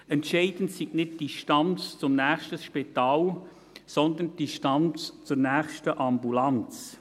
Entscheidend sei nicht die Distanz zum nächsten Spital, sondern die Distanz zur nächsten Ambulanz.